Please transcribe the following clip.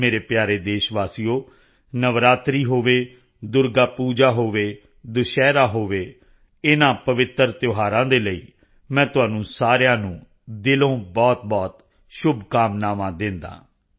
ਮੇਰੇ ਪਿਆਰੇ ਦੇਸ਼ ਵਾਸੀਓ ਨਵਰਾਤਰੀ ਹੋਵੇ ਦੁਰਗਾ ਪੂਜਾ ਹੋਵੇ ਵਿਜੈਦਸ਼ਮੀ ਦੁਸਹਿਰਾ ਹੋਵੇ ਇਨ੍ਹਾਂ ਪਵਿੱਤਰ ਤਿਉਹਾਰਾਂ ਦੇ ਲਈ ਮੈਂ ਤੁਹਾਨੂੰ ਸਾਰਿਆਂ ਨੂੰ ਦਿਲੋਂ ਬਹੁਤਬਹੁਤ ਸ਼ੁਭਕਾਮਨਾਵਾਂ ਦਿੰਦਾ ਹਾਂ